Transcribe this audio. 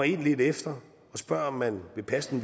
ind lidt efterog spør om man vil passe den